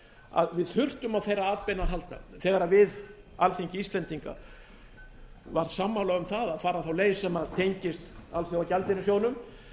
að við þurftum á þeirra atbeina að halda þegar við alþingi íslendinga var sammála um að fara þá leið sem tengist alþjóðagjaldeyrissjóðnum